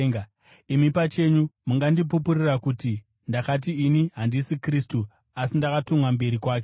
Imi pachenyu mungandipupurira kuti ndakati, ‘Ini handisini Kristu, asi ndakatumwa mberi kwake.’